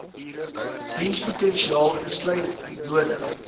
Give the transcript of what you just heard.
dienspotensiaal insluit nodig